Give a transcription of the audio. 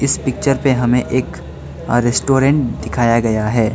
इस पिक्चर पे हमें एक रेस्टोरेंट दिखाया गया है।